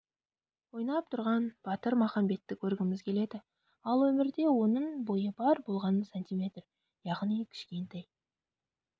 ойнап тұрған батыр махамбетті көргіміз келеді ал өмірде оның бойы бар болғаны см яғни кішкентай